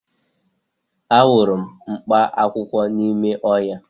Ahụrụ m mkpaakwụkwọ n'ime ọhịa